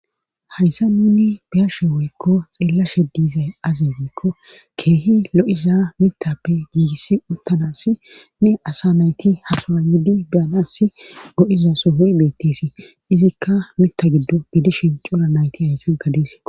hayssa nuni biyashe woykko xeellashe diizay azi biikko keehi lo7iza mitappe giigis uttanassi ne asa nayti hasawa yidi biyanas go7iza sohuri beettisi izikka mita giddo gidishin coura nayti hayssanka desiko